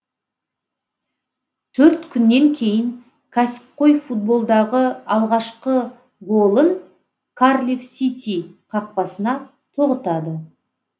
төрт күннен кейін кәсіпқой футболдағы алғашқы голын карлифф сити қақпасына тоғытады